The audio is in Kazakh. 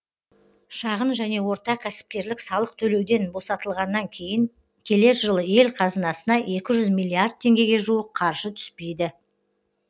шағын және орта кәсіпкерлік салық төлеуден босатылғаннан кейін келер жылы ел қазынасына екі жүз миллиард теңгеге жуық қаржы түспейді